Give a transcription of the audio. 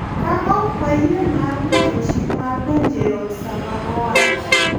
Ka ok wayie mar rito chik mar donjo eot sama owachi